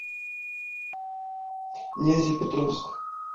нязепетровск